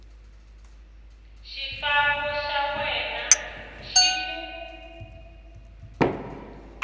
xifambo xa wena xi ku